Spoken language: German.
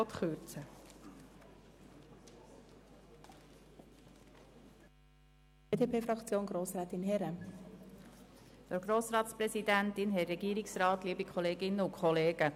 Wir halten den Antrag Mühlheim für besser als jenen der BDP, der um 8 Prozent kürzen will.